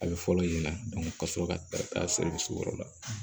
A bɛ fɔlɔ ɲɛna ka sɔrɔ ka taa yɔrɔ la